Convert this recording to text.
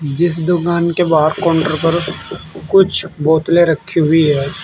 जिस दुकान के बाहर काउंटर पर कुछ बोतलें रखी हुई हैं।